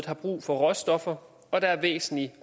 har brug for råstoffer og der er væsentlige